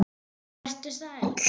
Og vertu sæll.